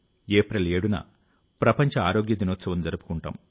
April 7న ప్రపంచ ఆరోగ్య దినోత్సవం జరుపుకుంటాం